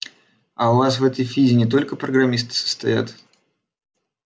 а у вас в этой фиде не только программисты состоят